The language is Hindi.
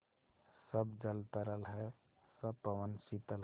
सब जल तरल है सब पवन शीतल है